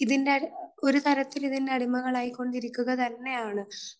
ഇതിൻറെ, ഒരു തരത്തിൽ ഇതിൻറെ ഒരു അടിമകളായിക്കൊണ്ടിരിക്കുക തന്നെയാണ്.